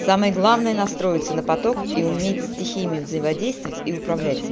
самое главное настроиться на поток и уметь стихиями взаимодействовать и